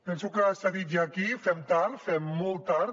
penso que s’ha dit ja aquí fem tard fem molt tard